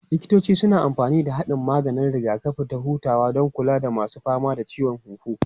Likitoci suna amfani da haɗin maganin rigakafi da hutawa don kula da masu fama da ciwon huhu.